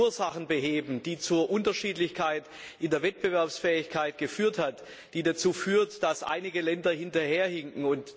Wir wollen die Ursachen beheben, die zu den Unterschieden bei der Wettbewerbsfähigkeit geführt haben, die dazu führen, dass einige Länder hinterherhinken.